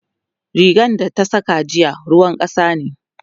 rigan da ta Saka jiya ruwan kasa ne